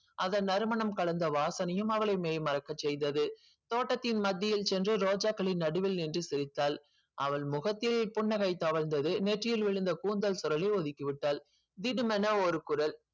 அதன் நறுமணம் கலந்த வாசனையும் அவளை மெய்மறக்க செய்தது தோட்டத்தின் மத்தியில் சென்று ரோஜாகளின் நடுவே நின்று சிரித்தாள். அவள் முகத்தில் புன்னகை தவழ்ந்தது நெற்றியில் விழுந்த கூந்தல் ஒதிக்கி விட்டாள் திடுமென ஒரு குரல்